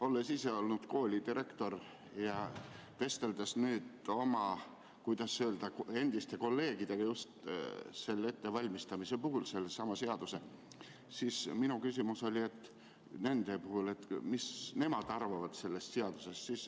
Olles ise olnud koolidirektor ja vesteldes nüüd oma, kuidas öelda, endiste kolleegidega just selle sama seaduse ettevalmistamisest, siis minu küsimus oli, mida nemad arvavad sellest seadusest.